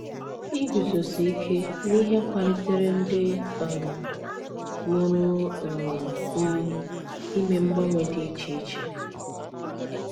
Iguzosi ike n’ihe kwalikwara ndị um mụrụ um m ime mgbanwe dị iche iche.